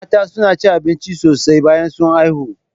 Mata suna cin abinci sosai bayan sun haifu